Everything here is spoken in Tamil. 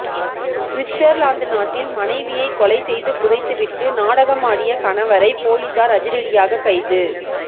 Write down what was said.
சுவிட்சர்லாந்து நாட்டில் மனைவியை கொலை செய்து புதைத்துவிட்டு நாடகமாடியக கணவரை பொலிசார் அதிரடியாக கைது